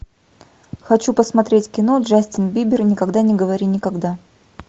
хочу посмотреть кино джастин бибер никогда не говори никогда